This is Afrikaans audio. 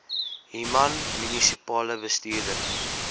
human munisipale bestuurder